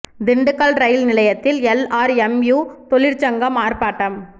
Dindigul rail நிலையத்தில் SRMU தொழிற்சங்கம் ஆர்ப்பாட்டம்